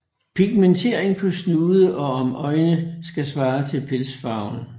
Pigmentering på snude og om øjne skal svare til pelsfarven